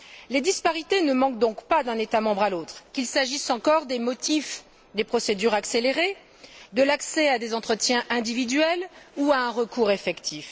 Les disparités ne manquent donc pas d'un État membre à l'autre, qu'il s'agisse encore des motifs des procédures accélérées, de l'accès à des entretiens individuels ou à un recours effectif.